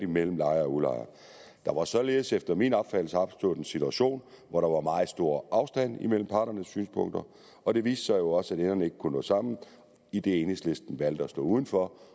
mellem lejere og udlejere der var således efter min opfattelse opstået en situation hvor der var meget stor afstand mellem parternes synspunkter og det viste sig jo også at enderne ikke kunne nå sammen idet enhedslisten valgte at stå uden for